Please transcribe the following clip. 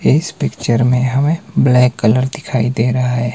इस पिक्चर में हमें ब्लैक कलर दिखाई दे रहा है।